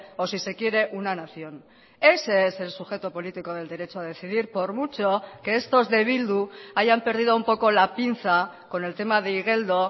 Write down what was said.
o si se quiere una nación ese es el sujeto político del derecho a decidir por mucho que estos de bildu hayan perdido un poco la pinza con el tema de igeldo